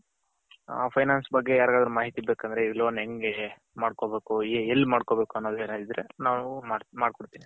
ಹ finance ಬಗ್ಗೆ ಯರ್ಗದ್ರು ಮಾಹಿತಿ ಬೇಕಂದ್ರೆ ಈ loan ಹೆಂಗೆ ಮಾಡ್ಕೊಬೇಕು ಎಲ್ಲಿ ಮಾಡ್ಕೊಬೇಕು ಅನ್ನೋ ಇದ್ರೆ ನಾವು ಮಡ್ಕೊಡ್ತಿವಿ.